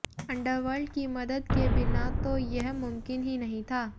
underworld की मदद के बिना तो यह मुमकिन ही नहीं था